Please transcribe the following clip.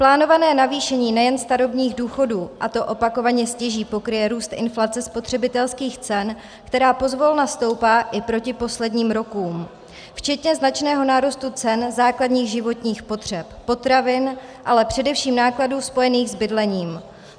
Plánované navýšení nejen starobních důchodů, a to opakovaně, stěží pokryje růst inflace spotřebitelských cen, která pozvolna stoupá i proti posledním rokům, včetně značného nárůstu cen základních životních potřeb, potravin, ale především nákladů spojených s bydlením.